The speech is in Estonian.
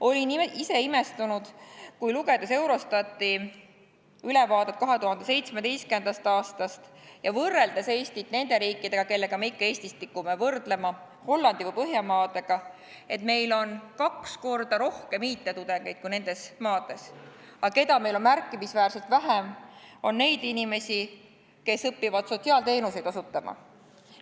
Olin ise imestunud, lugedes Eurostati ülevaadet 2017. aastast ja võrreldes Eestit nende riikidega, kellega me ikka tikume end võrdlema – Hollandi või Põhjamaadega –, et meil on kaks korda rohkem IT-tudengeid kui nendes maades, aga keda on meil märkimisväärselt vähem, on neid inimesi, kes õpivad sotsiaalteenuseid osutama.